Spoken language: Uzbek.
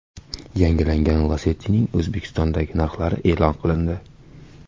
Yangilangan Lacetti’ning O‘zbekistondagi narxlari e’lon qilindi.